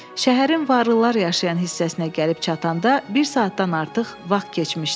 Şəhərin varlılar yaşayan hissəsinə gəlib çatanda bir saatdan artıq vaxt keçmişdi.